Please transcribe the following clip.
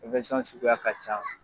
Ɛnfɛsɔn suguya ka can.